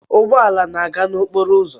Ụgbọ ala na-aga n'okporo ụzọ